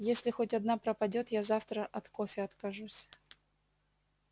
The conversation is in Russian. если хоть одна пропадёт я завтра от кофе откажусь